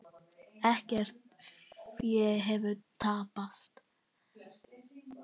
Ekkert fé hefur tapast.